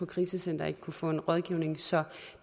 krisecenter ikke kunne få en rådgivning så